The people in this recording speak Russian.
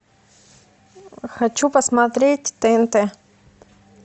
хочу посмотреть тнт